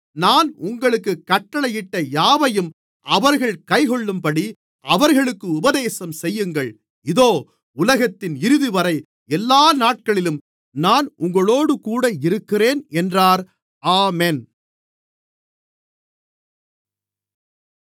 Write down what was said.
நான் உங்களுக்குக் கட்டளையிட்ட யாவையும் அவர்கள் கைக்கொள்ளும்படி அவர்களுக்கு உபதேசம் செய்யுங்கள் இதோ உலகத்தின் இறுதிவரை எல்லா நாட்களிலும் நான் உங்களோடுகூட இருக்கிறேன் என்றார் ஆமென்